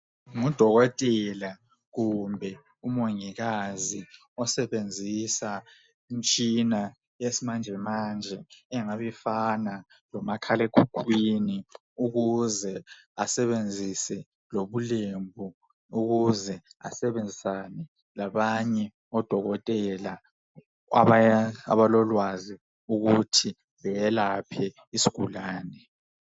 Ngudokotela kumbe umongikazi osebenzisa imitshina yesimanje manje engabe ifana lomakhalekhukhwini ukuze asebenzise lobulembu ukuze asebenzisane labanye odokotela abalolwazi ukuthi beyelaphe isigulane.